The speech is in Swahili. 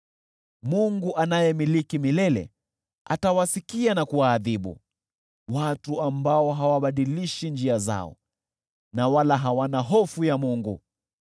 Mungu anayemiliki milele, atawasikia na kuwaadhibu, watu ambao hawabadilishi njia zao, wala hawana hofu ya Mungu.